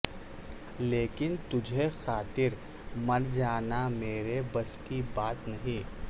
لیکن تجھ خاطر مر جانا میرے بس کی بات نہیں